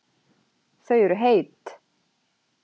Þau eru heit